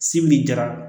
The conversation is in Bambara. Sibiri dira